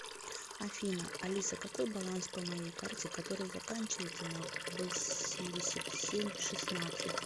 афина алиса какой баланс по моей карте которая заканчивается на восемьдесят семь шестнадцать